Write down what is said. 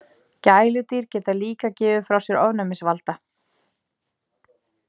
Gæludýr geta líka gefið frá sér ofnæmisvalda.